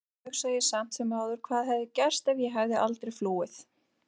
En stundum hugsa ég samt sem áður hvað hefði gerst ef ég hefði aldrei flúið.